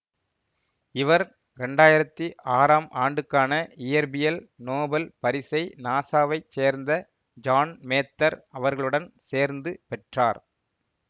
இவர் இரண்டாயிரத்தி ஆறாம் ஆண்டுக்கான இயற்பியல் நோபல் பரிசை நாசாவைச் சேர்ந்த ஜான் மேத்தர் அவர்களுடன் சேர்ந்து பெற்றார்